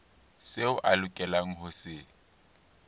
seo a lokelang ho se